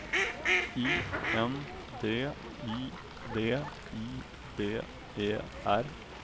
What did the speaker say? I N D I V I D E R